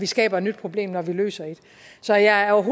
skaber et nyt problem når vi løser et så jeg er